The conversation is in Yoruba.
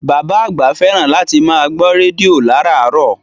Bàbá àgbà fẹ́ràn láti máa gbọ́ rédíò láràárọ̀